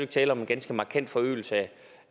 tale om en ganske markant forøgelse